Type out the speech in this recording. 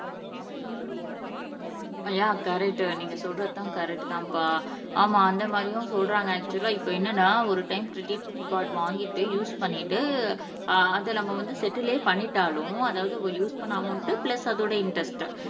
ஆஹ் நீங்க சொல்றதுதான் கரெக்ட் தான்ப்பா ஆமா அந்த மாதிரியும் சொல்றாங்க ஆக்சுவலா இப்ப என்னன்னா ஒரு டைம் கிரெடிட் கார்டு வாங்கிட்டு யூஸ் பண்ணிட்டு ஆஹ் அதை நம்ம வந்து செட்டிலே பண்ணிட்டாலும் அதாவது யூஸ் பண்ண அமௌன்ட் பிளஸ் அதோட இன்டெரெஸ்ட்